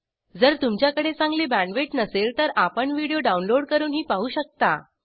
जर तुमच्याकडे चांगली बॅण्डविड्थ नसेल तर आपण व्हिडिओ डाउनलोड करूनही पाहू शकता